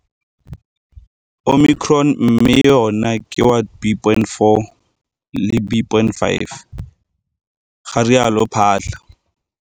Omicron mme yona ke wa B.4 le wa B.5, garialo Phaahla.